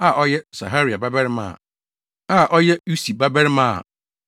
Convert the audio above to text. a ɔyɛ Serahia babarima a ɔyɛ Usi babarima a ɔno nso yɛ Buki babarima